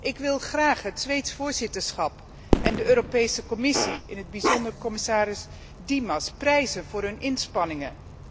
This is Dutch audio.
Ik wil graag het Zweedse voorzitterschap en de Europese Commissie, in het bijzonder commissaris Dimas, prijzen voor hun inspanningen.